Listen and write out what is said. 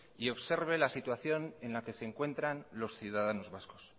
y observe la situación en la que se encuentran los ciudadanos vascos